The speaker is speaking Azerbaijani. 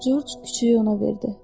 Corc küçüyü ona verdi.